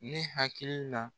Ne hakili la